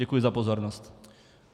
Děkuji za pozornost.